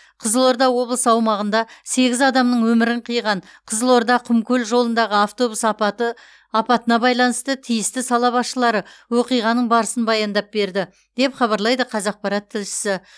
қызылорда облысы аумағында сегіз адамның өмірін қиған қызылорда құмкөл жолындағы автобус апаты апатына байланысты тиісті сала басшылары оқиғаның барысын баяндап берді деп хабарлайды қазақпарат тілшісі